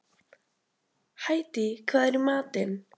Hædý, hvað er í matinn?